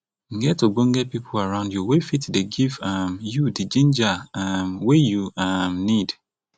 get ogbonge pipu around you wey fit dey give um you di ginger um wey you um need